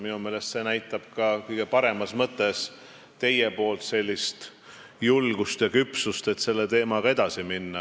Minu meelest see näitab ka kõige paremas mõttes teie julgust ja küpsust selle teemaga edasi minna.